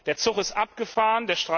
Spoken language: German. Der Zug ist abgefahren.